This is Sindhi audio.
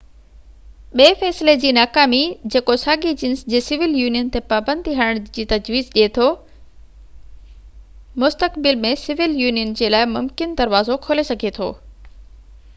ٻي فيصلي جي ناڪامي جيڪو ساڳئي جنس جي سول يونين تي پابندي هڻڻ جي تجويز ڏي ٿو مستقبل ۾ سول يونين جي لاءِ ممڪن دروازو کولي سگهي ٿو